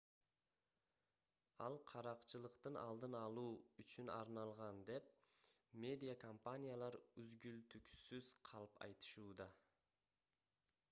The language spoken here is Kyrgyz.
ал каракчылыктын алдын алуу үчүн арналган деп медиа компаниялар үгүлтүксүз калп айтышууда